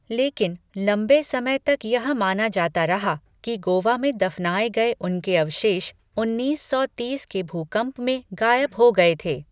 लेकिन, लंबे समय तक यह माना जाता रहा कि गोवा में दफनाए गए उनके अवशेष उन्नीस सौ तीस के भूकंप में गायब हो गए थे।